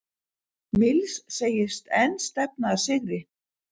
Mills segist enn stefna að sigri